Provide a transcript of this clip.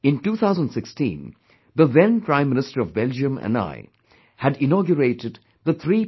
In 2016, the then Prime Minister of Belgium and I, had inaugurated the 3